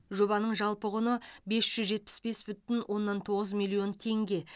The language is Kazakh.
жобаның жалпы құны бес жүз жетпіс бес бүтін оннан тоғыз миллион теңге